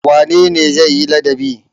Wane ne zai yi ladabi?